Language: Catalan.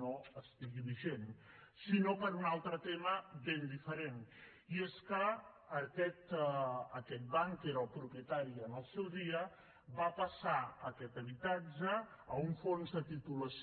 no estigui vigent sinó per un altre tema ben diferent i és que aquest banc que era el propietari en el seu dia va passar aquest habitatge a un fons de titulació